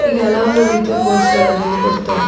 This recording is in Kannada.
ಹೀಗೆ ಹಲವಾರಿ ರೀತಿಯ ಕೋರ್ಸ್‌ಗಳನ್ನು ಇಲ್ಲಿ ಕೊಡ್ತಾರೆ.